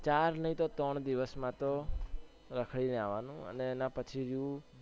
ચાર નઈ તો ત્રણ દિવસ માટે રખડી ને આવાનું અને એના પછી